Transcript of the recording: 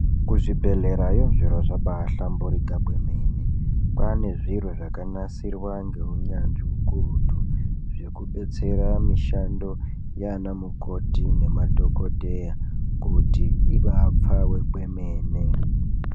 Kuzvibhedhlerayo zviro zvabaa hlamburika kwemene, kwaane zviro zvakanasirwa ngeunyanzvi ukurutu zvekubetsera mishando yaana mukoti nemadhokodheya kuti ibaapfave kwemene.